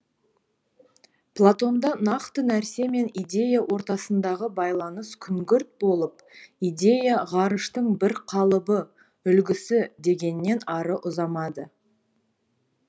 платонда нақты нәрсе мен идея ортасындағы байланыс күңгірт болып идея ғарыштың бір қалыбы үлгісі дегеннен ары ұзамады